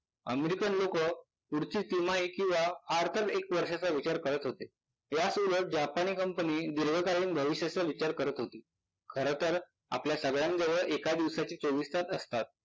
American लोकं पुढची तिमाही किंवा फाडतर एक वर्षाचा विचार करत होते याच वेळात जापानी कंपनी दीर्घकालीन भविष्याचा विचार करत होती. खरतर आपल्या सगळ्यांजवळ एका दिवसाचे चोवीस तास असतात.